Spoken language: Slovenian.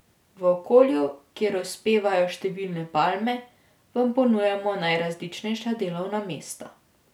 V okolju, kjer uspevajo številne palme, vam ponujamo najrazličnejša delovna mesta.